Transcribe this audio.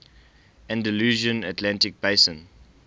andalusian atlantic basin